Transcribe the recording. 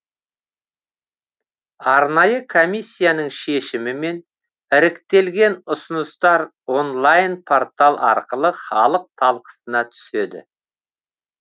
арнайы комиссияның шешімімен іріктелген ұсыныстар онлайн портал арқылы халық талқысына түседі